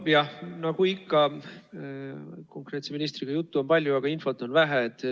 Nojah, nagu ikka küsitletava ministri puhul, on juttu palju, aga infot vähe.